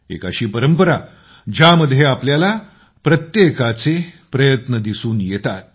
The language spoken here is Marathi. एक अशी परंपरा ज्यामध्ये आपल्याला प्रत्येकाचे प्रयत्न दिसून येतात